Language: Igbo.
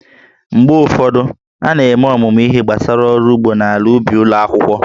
Mgbe ụfọdụ, a na-eme ọmụmụ ihe gbasara ọrụ ugbo na ala ubi ụlọ akwụkwọ